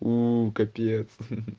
ну капец